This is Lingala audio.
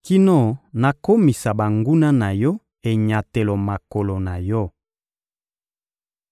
kino nakomisa banguna na Yo enyatelo makolo na Yo.›»